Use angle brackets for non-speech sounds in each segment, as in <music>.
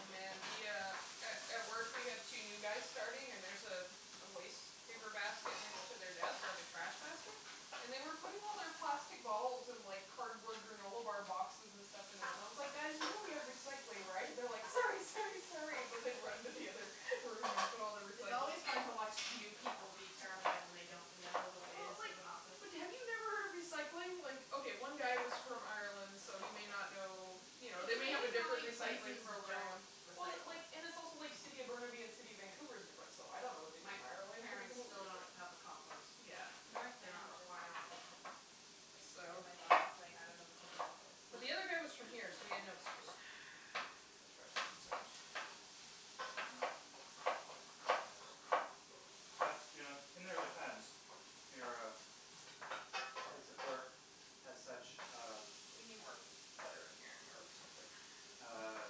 Oh, man, the uh A at work we have two new guys starting and there's a waste paper basket next to their desk, like a trash basket, and they were putting all their plastic bottles and like cardboard granola bar boxes and stuff in there, and I was like, "Guys, you know we have recycling, right?" And they're like, "Sorry, sorry, sorry," and they run into the other room and put all their It's recycling. always fun to watch new people be terrified when they don't know the Well, ways like, of an office. but have you never heard of recycling? Like, okay, one guy was from Ireland, so he may not know, you know, It's they may have a amazing how different many recycling places don't program. Well, recycle. like, and it's also like City of Burnaby and City of Vancouver is different, so I don't know what they do My in Ireland. It could be parents completely still don't different. have a compost. Yeah. They North they are not Van just required. got them. And So my boss is like, "I don't know what to do with this." The other guy was from here, so he had no excuse. <laughs> As far as I am concerned. <noise> Yeah. But, you know, in their defense, your place of work has such, um We need more bu- butter in here or something. Uh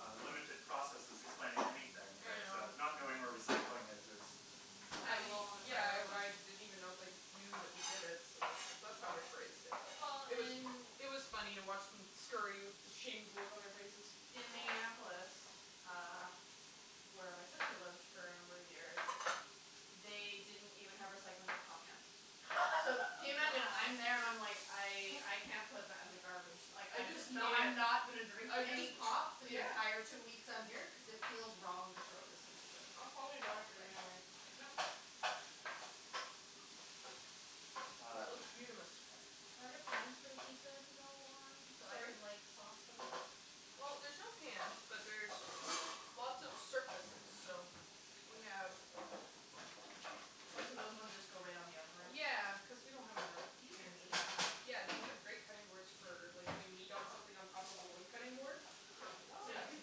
uh limited processes explaining anything I that uh know. not knowing where recycling is is I Kind of low on the yeah, priority list. I didn't even know if they knew that we did it, so that's that's Mm. how I phrased it. Well, It was in it was funny to watch them scurry with the shamed look on their faces. In Minneapolis, uh, where my sister lived for a number of years, they didn't even have recycling for pop cans. So, can you imagine? I'm there and I'm like, Wow. "I I can't put that in the garbage." Like, I I'm just just knew not it. not gonna drink I any just pop for the yeah. entire two weeks I'm here cuz it feels wrong to throw this into the It's probably better for you like anyway. like yeah That Um. looks beautamis. Are there pans for the pizza to go on so I Sorry? can like sauce them? Well, there's no pans, but there's lots of surface, so We have What, so those ones just go right on the oven rack? Yeah, cuz we don't have enough These are amazing. <inaudible> Yeah, these are great cutting boards for like doing meat on something on top of a wood cutting board. Oh. So you could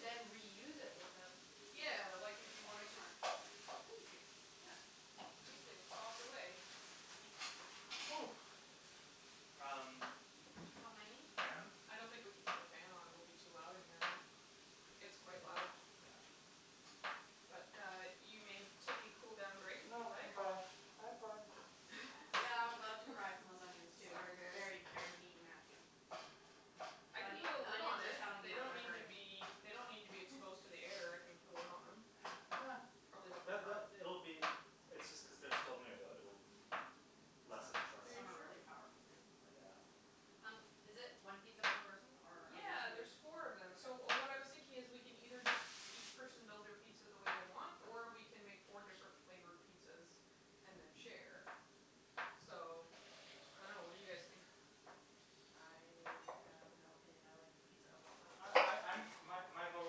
then reuse it without <inaudible> Yeah, like if you wanted to Thank you. Yeah. You can sauce away. Mm. Oh. <noise> Um How many? Fan? I don't think we can put the fan on. It will be too loud in here, right? It's Okay. quite loud. Yeah. But uh you may take a cool down break if you No, I'm like. fine, I'm fine. Yeah, I'm about to cry from those onions, too. Sorry, You're guys. very, very mean Matthew. I can The put a the lid onions on are it. telling you They that don't they're need to hurting. be They don't need to be exposed to the <laughs> air. I can put a lid on them. Uh Probably <inaudible> It'll <inaudible> be It's just cuz they're still new that it'll lessen Are shortly. you Some are sure? really powerful, too like Yeah. um Um, is it one pizza per person or? Yeah, there's four of them. So what I was thinking is, we can either just each person build their pizza the way they want, or we can make four different flavored pizzas and then share. So, I don't know. What do you guys think? I have no opinion. I like pizza of all kinds. Oh I I'm My my vote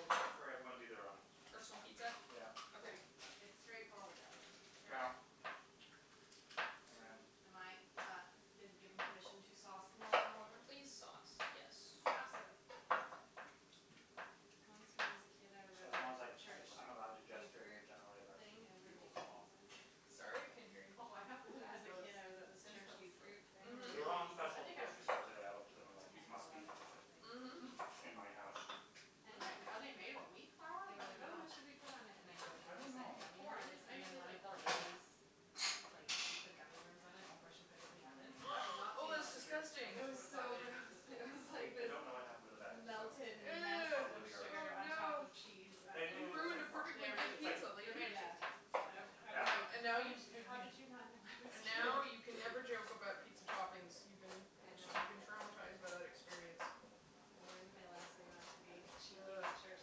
would be for everyone to do their own. Personal pizza? Yeah. Okay. Okay. Uh It's straightforward that way. Yeah. And then. Am I, uh, been given permission to sauce them all in order? Please sauce, yes. Okay. Sauce away. Once when I was a kid, I was at As long as like church <inaudible> I'm allowed to youth gesture in your group general thing election and we were bugle making call. pizzas. Sorry, I couldn't hear you. Oh, I haven't When I was had a those kid, I was at this since church I was youth like. group thing Mhm. making They're all on pizzas. special I at the think I was grocery store making today. I looked at them and like like they ten or must be eleven or something. Hmm. Mhm. in my house. Mm. Are they made of wheat flour? They were I like, "Oh, dunno. what should we put on it," and I I don't jokingly said know. gummy Corn. It's worms and maybe then tastes one like of the corn. ladies, like, put gummy worms on it before she put it in the oven. I've <noise> <noise> not Oh, seen those that's in years. I disgusting. It just was would've thought so they didn't gross. exist It anymore. was I like I this don't know what happened to the bag, so melted mess Ew. probably of in the garbage. sugar Oh on top no. of cheese. <inaudible> And they You do taste ruined a like corn. They perfectly are made It's good of it's like taste. pizza, They're lady. made of Yeah. tasty. It's all you need I I to Yeah. was like, know. And now "How did you you how did you not know <inaudible> and I was kidding?" now you can never joke about pizza toppings. You've been. I I'm sure know. you've been traumatized by that experience. I learned my lesson not to be cheeky Uh with church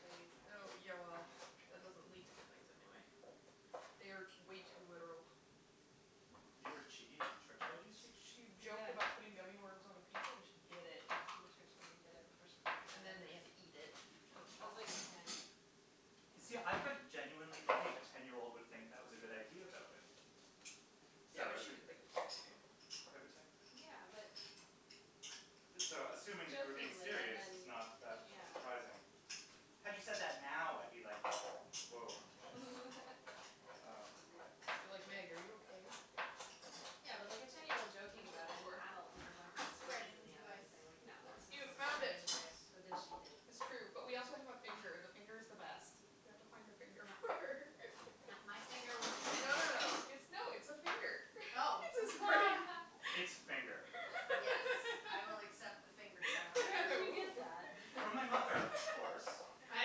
ladies. uh yeah, well, that doesn't lead to good things anyway. They are way too literal. You were cheeky with church ladies? She che- Yeah. joked about putting gummy worms on a pizza, and she did it. The church lady did it before she put it And in the oven. then we had to eat it. I was like ten. See, I could genuinely believe a ten year old would think that was a good idea, though, eh. So Yeah, I but was she didn't think it was a good idea. <inaudible> Yeah, but. So, assuming that you were being Jokingly and serious is then not that Yeah. surprising. Had you said that now, I'd be like, "Whoah she's" <laughs> Um It'd be like, "Meg, are you okay?" Yeah, but like a ten year old joking What you about looking it and the for? adult being the one A putting pizzas in spreading the oven device. and saying, like, no, Use that's <inaudible> this not You as a found spreading okay. it. device. But then she did That's true. But we also have a finger. And the finger is the best. You have to find a finger. No, no, my finger wasn't. <inaudible> No, no, no. It's no, it's <inaudible> Oh. <laughs> It's a finger. <inaudible> Yes, I will accept the finger <laughs> challenge. Where did you get Ooh. that? From my mother, of course. I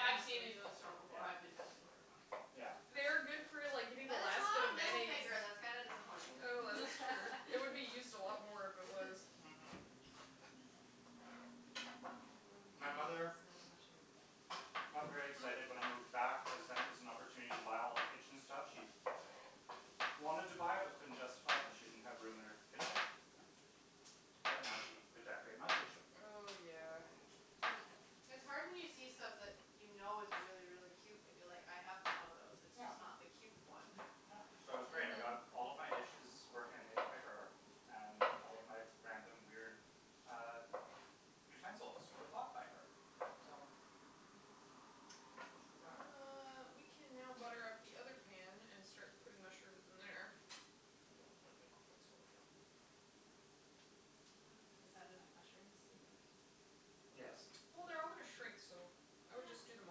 I've seen it in the store before. Yeah. I've been tempted <inaudible> Yeah. They are good for, like, getting the But it's last bit not of a middle mayonnaise. finger. That's kinda disappointing. Oh, that is true. It would be used a lot more if it <laughs> <laughs> was. Mm- hm. What do we <noise> do with My this mother amount of mushroom? got very excited when I Hmm? moved back cuz then it was an opportunity to buy all the kitchen stuff she wanted to buy but couldn't justify it cuz she didn't have room in her kitchen. But now she could decorate my kitchen. Oh, yeah. It's hard when you see stuff that you know is really, really cute but you're like, "I have one of those, it's just not the cute one." Uh, so it was great. I got all of my dishes were hand made by her. And all of my random, weird uh utensils were bought by her. So, Mm- hm. it was good planning. Uh, we can now butter up the pan and start putting mushrooms in there. Oh, my microphone's falling out. Is that enough mushrooms, do you think? Yes. Well, they're all going to shrink, so I would just do them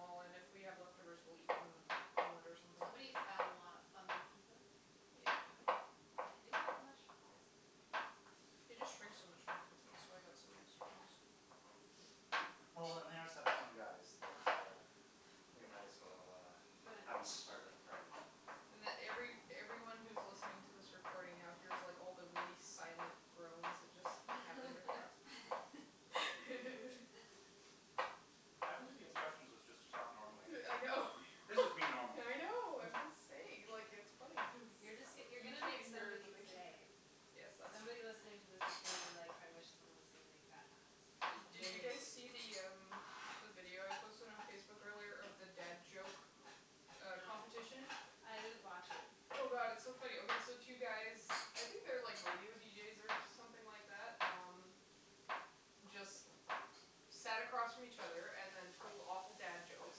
all. And if we have leftovers, we'll eat them on a on bread or something. Somebody is bound to wanna fungi pizza. Yeah. I do like mushrooms. They just shrink so much when they cook. That's <noise> why I've got some extra ones. Well, they are such fun guys that uh we might as well uh But uh have them as part of the party. And every everyone who's listening to this recording now here's like all the really silent groans that just happened. <laughs> <laughs> I believe the instructions was just to talk normally. Yeah I know. This is me normal. I know, I'm just saying. Like, it's funny cuz You're just you're you going to make can't hear it but somebody's they can hear day. it. Yes, that's Somebody true. listening to this is going to be like, "I wish someone is gonna make bad puns," and Did then you they guys see the <inaudible> um the video I posted on Facebook earlier of the dad joke uh No. competition? No. I didn't watch it. Oh, god, it's so funny. Okay, so two guys, I think they're like radio deejays or something like that. Um, just sat across from each other and then told awful dad jokes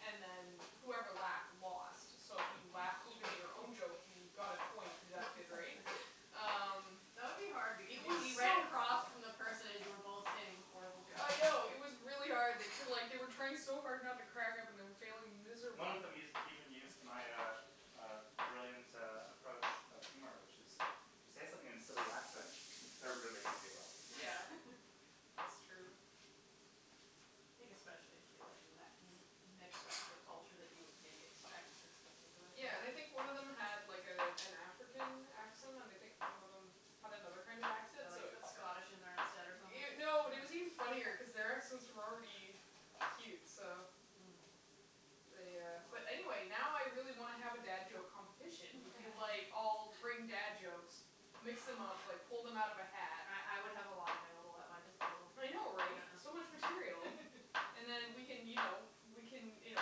and then whoever laughed lost. So if you laughed, even at your own joke, you got a point deducted, right? <laughs> Um, That would be hard it because you'd be was right so across <inaudible> from the person as you were both saying horrible jokes. I know, it was really hard. They took like they were trying so hard not to crack up and were failing One of miserably. them us- used even used my uh uh brilliant uh approach of humor, which is If you say something in silly accent, they're really gonna giggle. Yeah, <laughs> it's true. I think especially if you like met mix up the culture that you would maybe expect for this particular thing. Yeah, and I think one of them had like a an African accent, and I think one of them had another kind of accent, Or so like it put Scottish in there instead or something No, it was even <inaudible> funnier cuz their accents were already cute, so Mm. they uh Oh. But anyway, now I really want to have a dad joke competition. We could like all <laughs> bring dad jokes, mix them up, like pull them out of a hat. I I would have a lot available at my disposal. I know, right? Yeah. So much material. <laughs> And then we can, you know, we can, you know,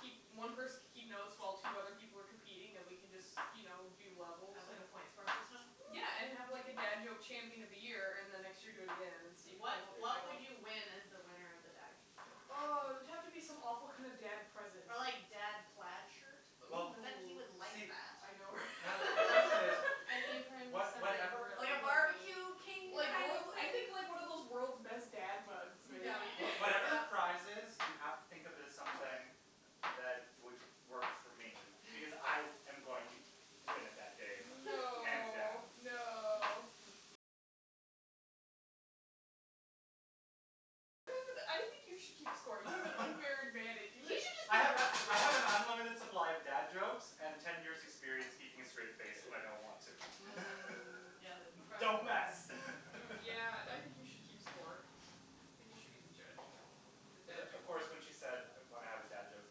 keep One person can keep notes while two other people were competing and we can just, you know, do And levels. have like a point score system? Yeah, and have like a dad joke champion of the year and the next year do again and see if you can What hold your what title. would you win as the winner of the dad joke Oh, champion? it would have to be some awful kinda dad present. Ah, like, dad plaid shirt? Well, But then, he Ooh. would like see. that. I know Natalie, the question is, <laughs> An apron, was something whatever really Like a corny. barbecue king Yeah. kind of I thing? think, like, one of those world's best dad mugs maybe. What- whatever the prize is, you have to think of it as something that would work for me because I am going to win it that day, hands No, down. no. <laughs> You should just I be a have referee. I have an unlimited supply of dad jokes and ten years experience keeping a straight face when I don't want to. <laughs> Mm, yeah, like a Don't professional thing. mess <laughs> Yeah, I think you should keep score. I think you should be the judge of the dad <inaudible> of joke course, when <inaudible> she said when I have a dad joke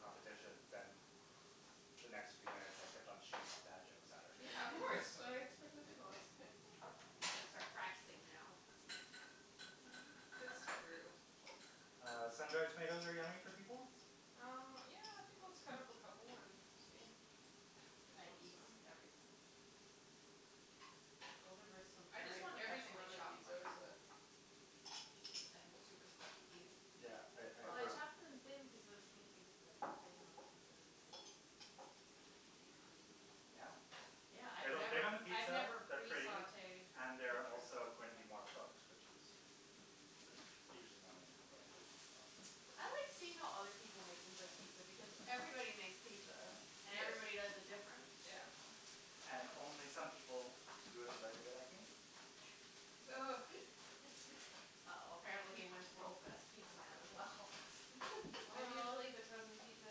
competition, then the next few minutes I kept on shooting off dad jokes at her. Yeah, of course. I expect nothing less. <laughs> You got to start practicing now. It's true. Uh, sun dried tomatoes are yummy for people? Um, yeah, I think let's cut up a couple and see if they I eat eat them. everything. Those are some I just very want everything professionally on my chopped pizza, so. mushrooms. Super thin, super even. Yeah, I I Well, I agree. Bravo. chopped them thin cuz I was thinking you'd like lay it on the pizza and then they would bake on the pizza. Yeah. Yeah, I've They look good never on the I've pizza, never they're pre pretty sautéed and they're also mushrooms. going to be more cooked, which is usually my main complaint, but I like seeing how other people make things like pizza because everybody makes pizza, and everybody does Yes. it different. Yeah. And only some people do it the right way, like me. Ugh. <laughs> Uh oh, apparently he wins world's best pizza man as well. <laughs> I'm usually the frozen pizza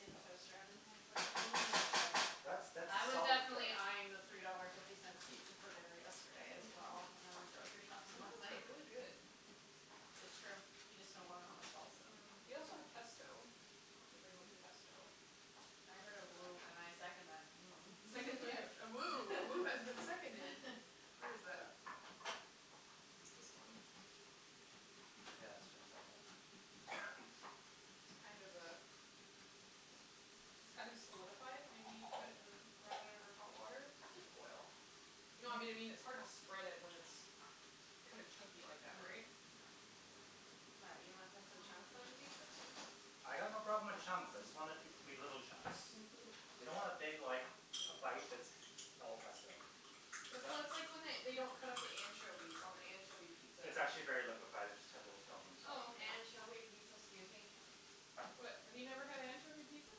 in the toaster oven kind of person. That's that's a I was solid approach. definitely eyeing the three dollar fifty cents pizza for dinner yesterday as well when I went grocery <laughs> shopping Some of last those are night. really good. It's true, you just don't want to know how much salt's in them. Mm. We also have pesto if anybody wants Mmm. pesto. I heard a woo, and I second that woo. A second <laughs> <inaudible> A woo has been seconded. <laughs> Where is that? <noise> This one. <noise> Yeah, let's finish that one up. <noise> It's kind of uh It's kind of solidified. We need put it in run it under hot water. It's just oil. No, I mean it's hard to spread it when it's kinda chunky Ah like that, right? mm What, you don't want yeah pesto chunks on your pizza? mm I got no problem with chunks. I just want it to be little chunks. You <laughs> don't want a big, like, a bite that's all pesto. So It's a that's like when they don't cut up the anchovies on the anchovy pizza. It's actually very liquified. It just had a little film on top. Oh, okay. Anchovy pizza? Excuse me? What, have you never had anchovy pizza?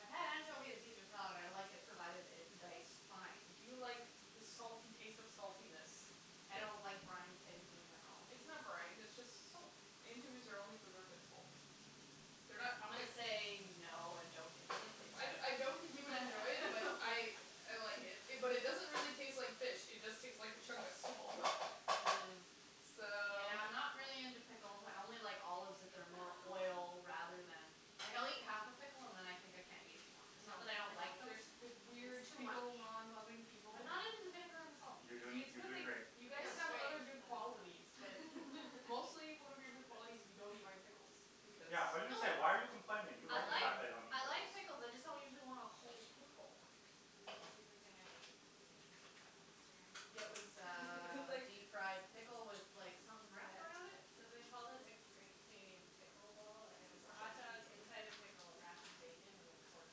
I've had anchovy on Caesar salad. I like it provided it's diced fine. Do you like the salty taste of saltiness? I don't like brined things in general. It's not brined, it's just salt. Anchovies are only preserved in salt. They're not I'm gonna say no and don't Mm. I <inaudible> I don't think you would enjoy it, but I <laughs> I like it. But it doesn't really taste like fish, it just tastes like a chunk of salt. Mm, So yeah, I'm not really into pickles. I only like olives if they're more oil rather <noise> than Like, I'll eat half a pickle and then I think I can't eat anymore. I It's know, not that I I don't like them know. The weird It's too much. pickle non loving people. I'm not Mm. into the vinegar and the Yeah salt. You're doing It's a strange you're good thing doing great. you but guys have other I good still qualities, but like it. mostly <laughs> one of your good <laughs> qualities is you don't eat my pickles because No Yeah, I was going to say, "Why are you complaining?" You I like the like fact I don't eat I pickles. like pickles, I just don't usually want a whole pickle. Did you see the thing I ate at the PNE on Instagram? Yeah, it was <laughs> It was uh like deep fried pickle with like something wrapped around it? So they called it a Great Canadian Pickle Ball, and it was a hotdog inside a <inaudible> pickled wrapped in bacon and then corn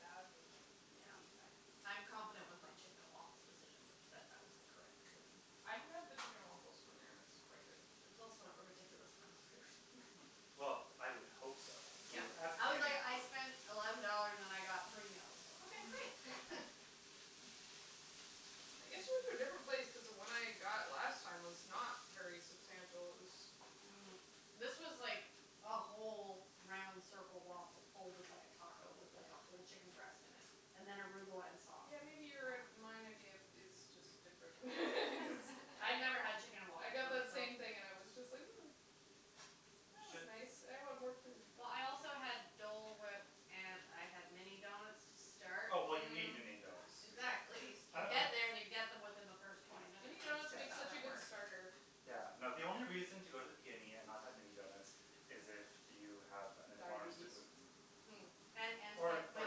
dogged and like deep fried. Yeah. I'm confident with my chicken and waffles decision, that that was the correct decision. I have had the chicken and waffles from there and it's quite good. It was also a ridiculous amount of food. <laughs> <noise> <laughs> Well, I would hope so Yeah. I was like, "I <inaudible> spent eleven dollars and I got three meals." Okay, great. <laughs> I guess you went to a different place cuz the one I got last time was not very substantial. It was Mm. This was like a whole round circle waffle folded like a taco with, like, a whole chicken breast in it and then arugula and sauce. Yeah, maybe your and my idea is Wow. just different <laughs> <noise> <laughs> I never had chicken and I waffles, got that so. same thing and it was just huh. That was nice. I want more food. Well, I also had <inaudible> Dole whip and I had mini donuts to start. Oh, well you need mini donuts. Exactly. You get there and you <inaudible> get them within the first twenty minutes. Mini donuts Yeah, That's make how such a that good works. starter. yeah, no, the only reason to go to the PNE and not have mini donuts is if you have an intolerance to Diabetes. gluten. Mm. And Or <inaudible> or my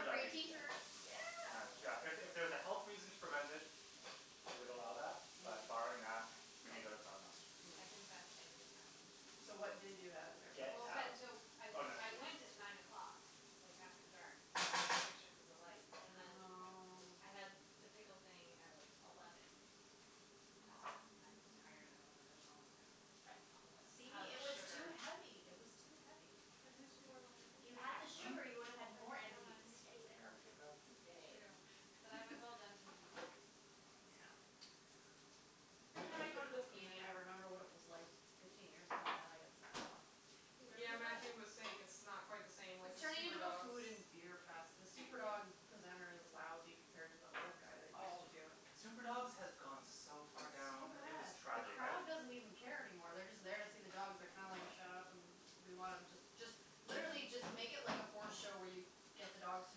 free diabetes, tee yeah. shirt. Yeah. Yeah, if it was a health reason to prevent it, I would allow that, but barring Mm. that, mini donuts are a must. I Mm. confess, I didn't have any donuts. So what did you have in their Get place? Well, out. but no I I went at nine <inaudible> o'clock like after dark to take pictures of the lights and then. Oh. I had the pickle thing at like eleven and I was like I'm tired and I want to go home and I don't want to eat a whole See, pile of it was too sugar. heavy, it was too heavy. Can It was I have good, some more wine? If you had the though. Hm? sugar, you would Can I have had have some more more energy to wine, stay babe? there. That's your cup. True, Babe but I was all <laughs> done <laughs> taking pictures and was like I'm just Yeah. gonna go. Every time I go to the PNE, I remember what it was like fifteen years ago and then I get sad. Do you Yeah, remember that? Matthew was saying it's not quite the same, like the It's turning super into a dogs. food and beer fest. The super dog presenter is lousy compared to the old guy that used to Oh. do it. Super dogs has gone so far It's so down, it was bad. The tragic. crowd doesn't even <inaudible> care anymore. They're just there to see the dogs. They're kind of like shut up and we want them just just literally just make it like a horse show where you get the dogs to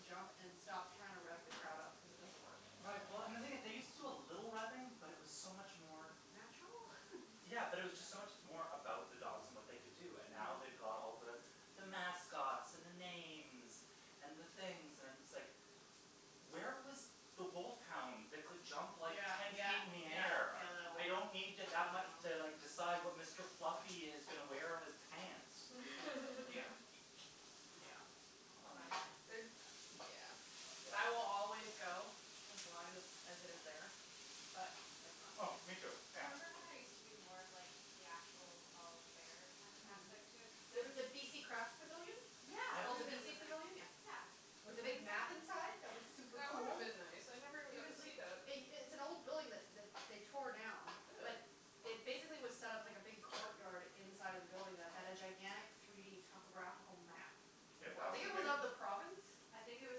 jump and stop trying to rev the crowd up cuz it doesn't work. Right, well, and the thing is they used to do a little revving, but it was so much more. Natural? <laughs> Yeah, but it was just so much more about the dogs and what they could do, and now they've Mm. got all the the mascots and the names and the things and it's like where was the wolf hound that could jump like Yeah, ten yeah, feet up in the yeah, air. yeah that one. I I know. don't need <inaudible> to like decide what Mr. Fluffy is going to wear on his pants. <laughs> Glad I missed the super dogs this year. <noise> Yeah. I will always go as long as as it is there. But it's not Oh, me too. there. Yeah. Remember when there used to be more of like the actual fall fair kind of aspect to it? Mhm. The the BC Craft Pavilion? It's Yeah. called the Yeah BC Pavilion? Yeah. <inaudible> Yeah. With the big map Exactly. inside that was super That would have cool? been nice. I never even It got to was like see that. It it's an old building that that they tore down. Really? That it basically was set up like a big court yard inside of the building that had a gigantic three d topographical map. <inaudible> it of the province? <inaudible> I think it was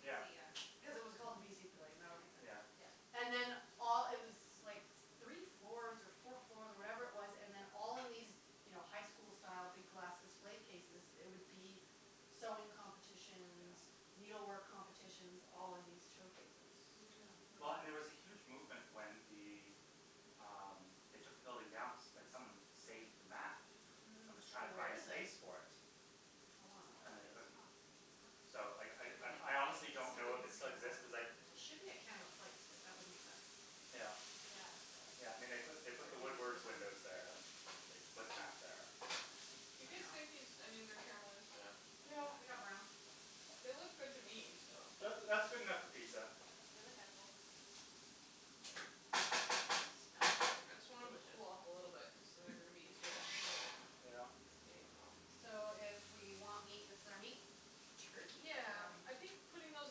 Yeah. yeah. Because it was called the BC Pavilion. That would make sense. Yeah. Yeah. And then all it was like three floors or four floors or whatever it was and then all in these, you know, high school style big glass display cases there would be sewing competitions. Yeah. Needle work competitions all in these showcases. Yeah. Mhm. Well, and there was a huge movement when the um they took the building down that someone saved the map. That Mhm. was So trying to where find is it? space for it. I wanna know where And that they is. couldn't. Huh. So I I I honestly don't know if it still exists cuz like It should be <inaudible> at Canada Place, like, that would make sense. Yeah. Yeah. Yeah, I mean, they put the Woodward's windows <inaudible> there. I think they put the map there. You Yeah. guys Yeah. think these onions are caramelized enough? Yeah, they <noise> got brown. They look good to me, so. That's that's good enough for pizza. They look edible. Smells very I just want them to delicious. cool off a little bit cuz then they're going to be easier to handle them. Yeah. Getting them out. So if we want meat, this is our meat? Turkey Yeah. pepperoni? Yeah. I think putting those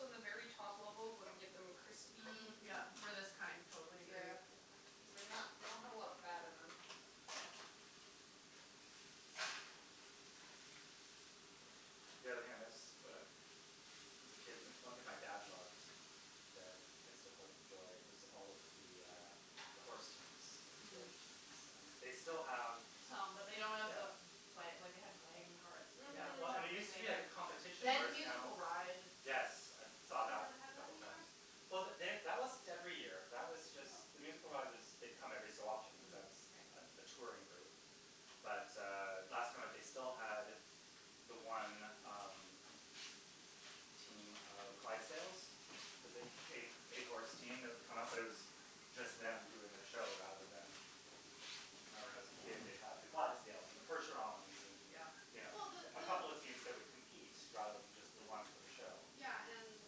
on the very top level would get them crispy. Mm, <noise> Yeah. yeah, for this kind, totally agree. Yeah, because they not they don't have a lot of fat in them. Yeah. The only thing I miss as a kid, one thing my dad loved that I still quite enjoy was all of the uh the horse teams, at the fair, Mm. teams. And they still have Some, but they don't have Yeah. the Wa- like they had wagon carts that Yeah, well, I mean, it used Mhm. to be like a had. <inaudible> competition They had the whereas now musical ride. Yes, I Oh saw they that don't have a that couple anymore? times. Well, they that wasn't every year. That was just the Oh. musical ride was they come every so often cuz Mm. that's Mhm, right. a touring group. But uh last time that they still had the one um team of Clydesdales, the big eight eight horse team that would come up, but it was just them doing their show rather than I remember when I was a kid, they'd have the Clydesdales and the percherons and, Yeah. you Yeah. know. Well, the A couple of teams that would compete rather than just the one for the Mm. show. Yeah, and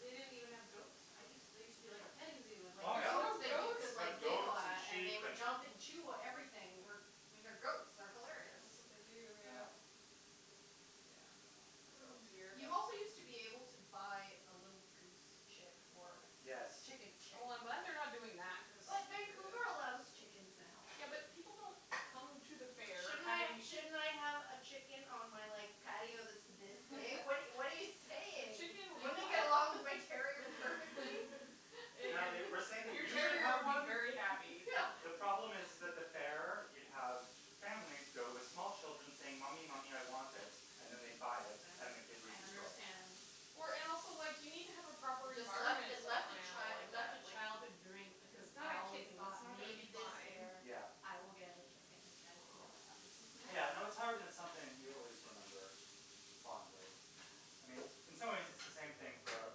they didn't even have goats. I used there used to be like a petting zoo and like Oh, There's yeah. goats no that you goats? could Like like giggle goats, and at and they sheep, would and jump and chew everything. I mean, they're goats, they're hilarious. That's what they do, Yeah. yeah. But, yeah, Yeah. no Oh goats. dear. Yeah. You also used to be able to buy a little goose chick. Or a Yes. chicken chick. Oh, I'm glad they're not doing that cuz But Vancouver allows chickens now. Yeah, but people don't come to the fair Shouldn't I having shouldn't I have a chicken on my like patio that's this big? What what are you <laughs> what are But you saying? chicken would Wouldn't not it <laughs> get along with my terrier perfectly? Natalie, we're saying Your that your you should terrier have would be one. very <laughs> happy. The problem is is that the fair you'd have families go with small children saying, "Mommy, mommy, I want it," and then they'd buy it, then the kid would I destroy it. understand. Or and also like, you need to have a proper Just left environment it set up for left an a animal chi- it like left that, a like childhood dream because It's not I a always kitten, it's thought not gonna maybe be this fine. year Yeah. I will get a chicken and it never <noise> happened. Yeah, no, it's hard when <laughs> it's something you always remember fondly. I mean, in some ways it's the same thing for a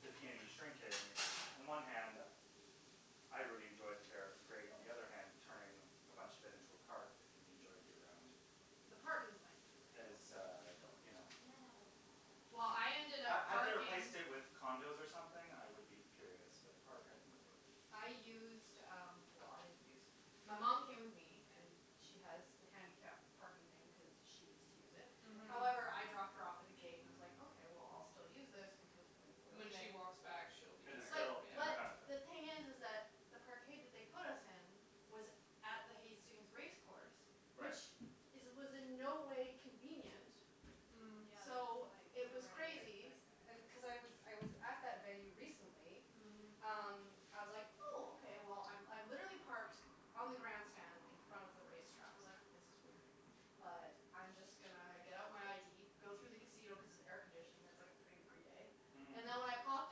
the PNE <inaudible> On one hand I really enjoyed the fair, it was great. On the other hand, turning a bunch of it into a park that can be enjoyed year round. The park is nice that they built. Is uh, you know Can I have my pizza? Well, I ended Had up had they parking replaced it with condos or something, I would be furious, but the park I can live with. I used um, well, I didn't use My mom came with me and she has the handicap parking thing cuz she needs to use it. Mhm. However, I dropped her off at the gate and I was like, okay, well, I'll still use this because when we're When she leaving. walks back she'll be It is tired still in her But benefit. the thing is is that the parkade that they put us in was at the Hastings race course. Right. Which is was in no way convenient. Mm. Mm, yeah, that's So like it was nowhere near the crazy. best And cuz I effort. was I was at that venue recently Mhm. um, I was like, "Oh, okay." Well, I I'm literally parked on the grandstand in front of the race track. I was like, this is weird, but I'm just gonna get out my ID, go through the casino cuz it's air conditioning, it's like a thirty degree day. Mhm. And then when I popped